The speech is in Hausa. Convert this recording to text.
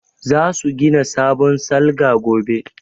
Za su gina sabon salga gobe